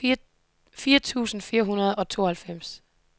fire tusind fire hundrede og tooghalvfems